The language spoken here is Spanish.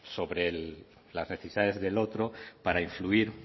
sobre las necesidades del otro para influir